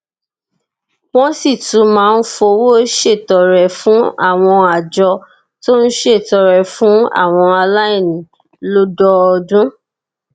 wón sì tún máa ń fowó ṣètọrẹ fún àwọn àjọ tó ń ṣètọrẹ fún àwọn aláìní lódọọdún